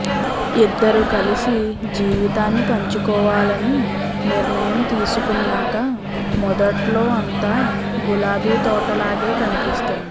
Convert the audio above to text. ఇద్దరు కలిసి జీవితాన్ని పంచుకోవాలని నిర్ణయం తీసుకున్నాక మొదట్లో అంతా గులాబీ తోటలాగే కనిపిస్తుంది